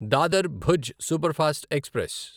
Dadar Bhuj superfast express